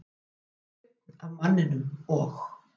Það var daunn af manninum, og